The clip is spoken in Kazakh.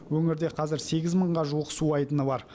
өңірде қазір сегіз мыңға жуық су айдыны бар